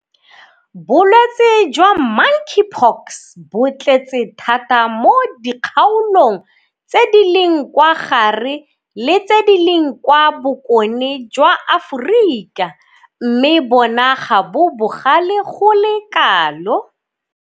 Bolwetse jwa Monkeypox bo tletse thata mo dikgaolong tse di leng kwa gare le tse di leng kwa bokone jwa Aforika mme bona ga bo bogale go le kalo.